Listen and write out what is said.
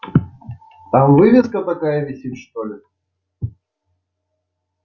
там вывеска такая висит что ли